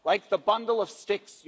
Like the bundle of sticks.